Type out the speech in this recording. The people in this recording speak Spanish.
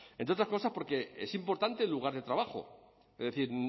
entre otras cosas porque es importante el lugar de trabajo es decir